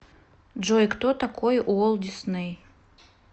джой кто такой уолт дисней